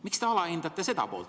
Miks te alahindate seda poolt?